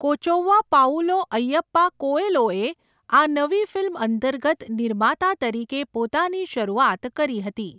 Kochouva Paulo Ayyappa કોએલોએ આ નવી ફિલ્મ અંતર્ગત નિર્માતા તરીકે પોતાની શરૂઆત કરી હતી.